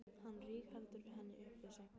Hann rígheldur henni upp við sig.